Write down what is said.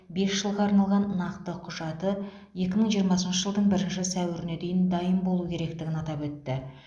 бес жылға арналған нақты құжаты екі мың жиырмасыншы жылдың бірінші сәуіріне дейін дайын болуы керектігін атап өтті